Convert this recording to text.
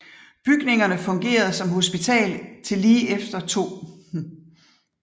Bygningerne fungerede som hospital til lige efter 2